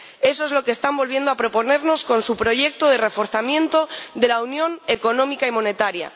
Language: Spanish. Eso es lo que están volviendo a proponernos con su proyecto de reforzamiento de la unión económica y monetaria.